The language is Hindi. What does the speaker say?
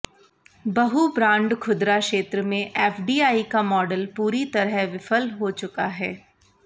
बहु ब्रांड खुदरा क्षेत्र में एफडीआई का मॉडल पूरी तरह विफल हो चुका है